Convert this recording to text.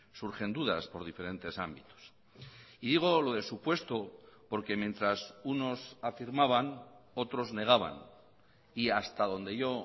surgen dudas por diferentes ámbitos y digo lo de supuesto porque mientras unos afirmaban otros negaban y hasta donde yo